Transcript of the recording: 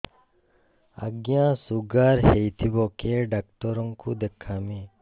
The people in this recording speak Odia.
ଆଜ୍ଞା ଶୁଗାର ହେଇଥିବ କେ ଡାକ୍ତର କୁ ଦେଖାମି